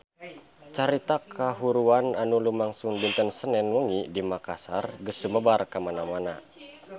Carita kahuruan anu lumangsung dinten Senen wengi di Makassar geus sumebar kamana-mana